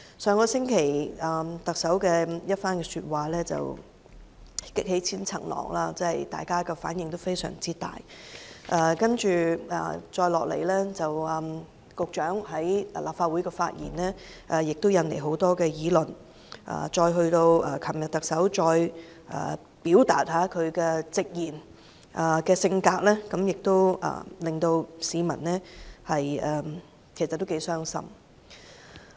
上星期特首的一番話擊起千重浪，大家反應非常大，接下來，局長在立法會的發言，也引來很多議論，到昨天特首再次表達其直言的性格，也令市民相當傷心。